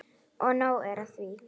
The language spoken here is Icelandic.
Og nóg er af því.